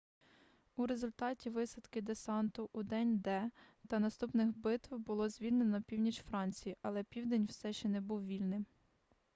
у результаті висадки десанту у день д та наступних битв було звільнено північ франції але південь все ще не був вільним